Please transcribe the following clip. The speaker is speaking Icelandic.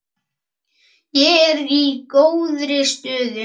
Ég er í góðri stöðu.